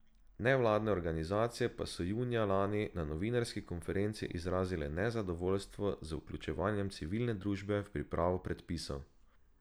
Nevladne organizacije pa so junija lani na novinarski konferenci izrazile nezadovoljstvo z vključevanjem civilne družbe v pripravo predpisov.